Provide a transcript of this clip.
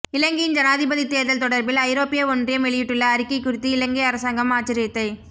இலங்கையின் ஜனாதிபதி தேர்தல் தொடர்பில் ஐரோப்பிய ஒன்றியம் வெளியிட்டுள்ள அறிக்கை குறித்து இலங்கை அரசாங்கம் ஆச்சரியத்தை